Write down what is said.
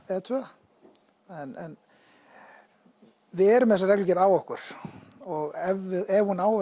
eða tvö en við erum með þessa reglugerð á okkur og ef ef hún á